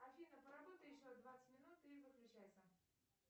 афина поработай еще двадцать минут и выключайся